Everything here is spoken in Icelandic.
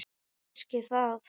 Kannski það.